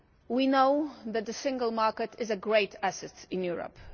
We know that the single market is a great asset in Europe.